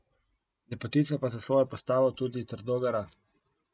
Lepotica pa za svojo postavo tudi trdo gara.